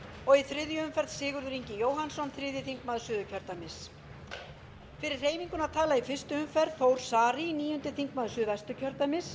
og í þriðju umferð sigurður ingi jóhannsson þriðji þingmaður suðurkjördæmis fyrir hreyfinguna tala í fyrstu umferð þór saari níundi þingmaður suðvesturkjördæmis